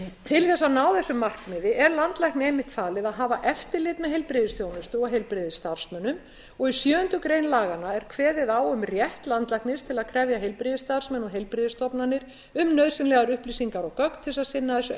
til þess að ná þessu markmiði er landlækni einmitt falið að hafa eftirlit með heilbrigðisþjónustu og heilbrigðisstarfsmönnum og í sjöundu grein laganna er kveðið á um rétt landlæknis til að krefja heilbrigðisstarfsmenn og heilbrigðisstofnanir um nauðsynlegar upplýsingar og gögn til þess að sinna þessu